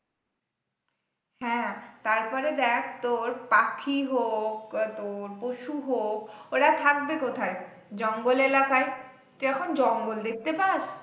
হ্যাঁ তারপরে দেখ তোর পাখি হোক তোর পশু হোক ওরা থাকবে কোথায়? জঙ্গল এলাকায় তুই এখন জঙ্গল দেখতে পাস?